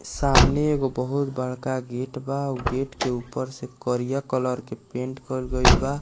सामने एगो बहुत बड़का गेट बा उ गेट के ऊपर से करिया कलर के पेंट करल गेल बा।